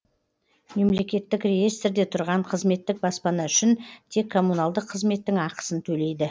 мемлекеттік реестрде тұрған қызметтік баспана үшін тек коммуналдық қызметтің ақысын төлейді